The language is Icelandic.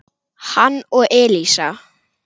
hann og Elísa.